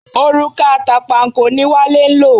Òrùka àtànpàkò ni Wale ń lò.